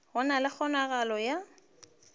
go na le kgonagalo ya